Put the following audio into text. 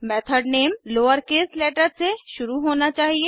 method name lowercase letter से शुरू होना चाहिए